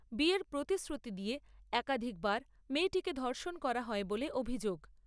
বিয়ের প্রতিশ্রুতি দিয়ে একাধিক বার মেয়েটিকে ধর্ষণ করা হয় বলে অভিযোগ।